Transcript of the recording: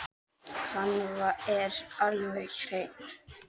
Hann er alveg hreinn.